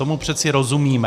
Tomu přece rozumíme.